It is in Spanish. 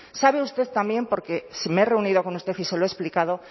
sabe usted también porque me he reunido con usted y se lo he explicado